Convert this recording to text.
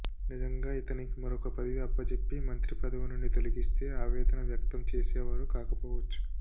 నిజంగా ఇతనికి మరొక పదవి అప్పజెప్పి మంత్రి పదవి నుండి తొలగిస్తే ఆవేదన వ్యక్తం చేసేవారు కాకపోవచ్చు